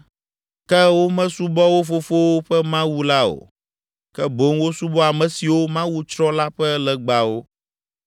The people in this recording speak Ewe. Ke womesubɔ wo fofowo ƒe Mawu la o, ke boŋ wosubɔ ame siwo Mawu tsrɔ̃ la ƒe legbawo.